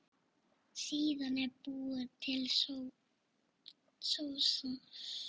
Síðan er búin til sósa.